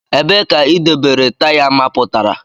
Ebee ka idobere taya mapụtara?